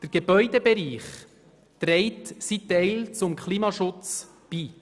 Der Gebäudebereich trägt seinen Teil zum Klimaschutz bei.